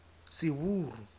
seburu